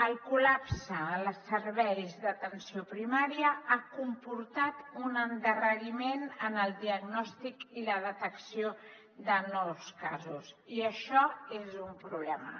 el col·lapse en els serveis d’atenció primària ha comportat un endarreriment en el diagnòstic i la detecció de nous casos i això és un problema